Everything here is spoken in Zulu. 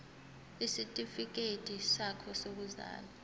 isitifikedi sakho sokuzalwa